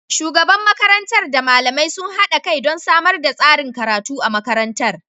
Shugaban makarantar da malamai sun haɗa kai don samar da tsarin karatu a makarantar.